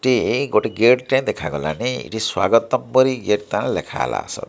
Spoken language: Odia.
ଟି ଏଇ ଗୋଟେ ଗେଟ୍ ଟେ ଦେଖା ଗଲା। ଏହି ସ୍ୱାଗତମ ପରି ଗେଟ୍ ତାଲା ଲେଖା ହେଲା ଆସ --